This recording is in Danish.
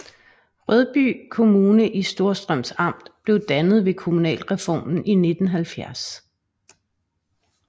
Rødby Kommune i Storstrøms Amt blev dannet ved kommunalreformen i 1970